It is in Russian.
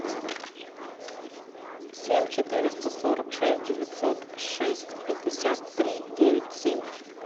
семь четыреста сорок шесть девятьсот шесть пятьдесят три девять семь